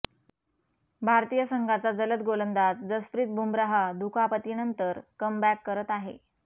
भारतीय संघाचा जलद गोलंदाज जसप्रीत बुमराह दुखापतीनंतर कमबॅक करत आहे